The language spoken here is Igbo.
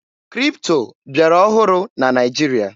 Kripto bịara ọhụrụ na Naịjirịa